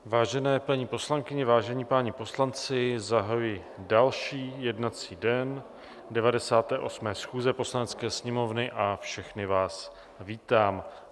Vážené paní poslankyně, vážení páni poslanci, zahajuji další jednací den 98. schůze Poslanecké sněmovny a všechny vás vítám.